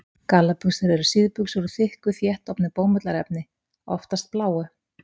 Gallabuxur eru síðbuxur úr þykku, þéttofnu bómullarefni, oftast bláu.